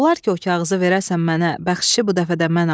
Olar ki, o kağızı verəsən mənə, bəxşişi bu dəfə də mən alım?